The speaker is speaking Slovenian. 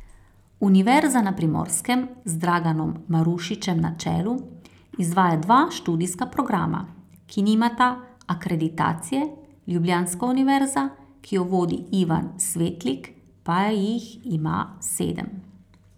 Univerza na Primorskem, z Draganom Marušičem na čelu, izvaja dva študijska programa, ki nimata akreditacije, ljubljanska univerza, ki jo vodi Ivan Svetlik, pa jih ima sedem.